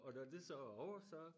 Og når det så er ovre så